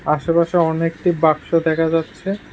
আশেপাশে অনেকটি বাক্স দেখা যাচ্ছে।